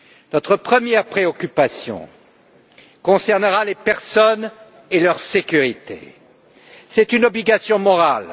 Notre première préoccupation concernera les personnes et leur sécurité. C'est une obligation morale.